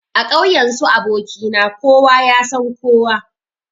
A ƙauyen su aboki na kowa yasan kowa.